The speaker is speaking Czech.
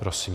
Prosím.